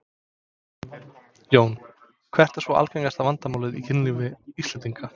Jón: Hvert er svona algengasta vandamálið í kynlífi Íslendinga?